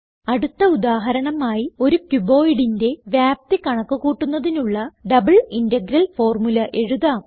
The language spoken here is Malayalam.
അടുത്ത ഉദാഹരണമായി ഒരു cuboidന്റെ വ്യാപ്തി കണക്ക് കൂട്ടുന്നതിനുള്ള ഡബിൾ ഇന്റഗ്രൽ ഫോർമുല എഴുതാം